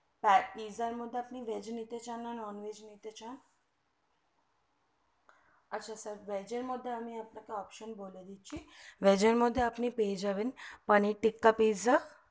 pizza এর মধ্যে আপনে veg নিতে চান না non veg নিতে চান না আচ্ছা sir veg এর মধ্যে আমি আপনাকে option বলে দিচ্ছি veg এর মধ্যে আপনে পেয়ে যাবেন paneer tikka pizza